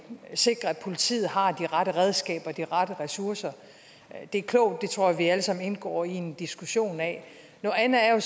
sikre at politiet har de rette redskaber og de rette ressourcer det er klogt og det tror jeg at vi alle sammen indgår i en diskussion af noget andet er